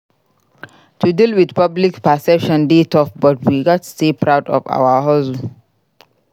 To deal with public perception dey tough but we gats stay proud of our hustle.